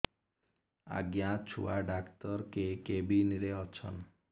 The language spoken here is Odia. ଆଜ୍ଞା ଛୁଆ ଡାକ୍ତର କେ କେବିନ୍ ରେ ଅଛନ୍